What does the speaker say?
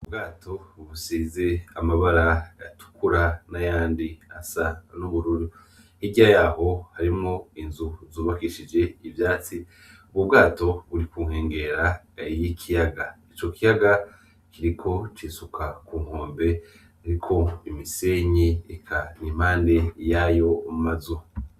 Ubwato busize amabara atukura n'ayandi asa y'ubururu hirya yaho hariho inzu zubakishije ubwatsi. Ubwo bwato buri ku nkengera y'ikiyaga Ico kiyaga kiriko cisuka ku nkombe z'umusenyi impande yayo mazu.